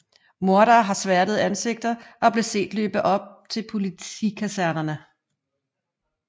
Morderne havde sværtede ansigter og blev set løbe til politikasernerne